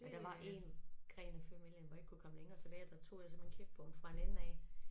Men der var 1 gren af familien hvor jeg kunne ikke komme længere tilbage og der tog jeg simpelthen kirkebogen fra en ende af